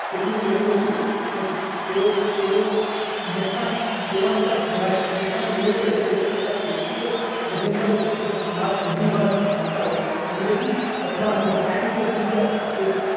તેમનું કહેવું હતું કે તેઓ એવો નેતા એવા નેતા ધરા નેતાનો વિરોધ કરે છે જે પોતાના વ્યક્તિગત aegenda ઉપર વધુ ભાર આપતા હોય અંગ્રેજી અખબાર the times of india A